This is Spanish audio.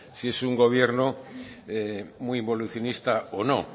si es un gobierno muy involucionista o no